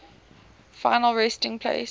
final resting place